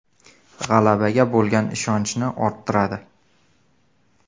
G‘alabaga bo‘lgan ishonchni orttiradi.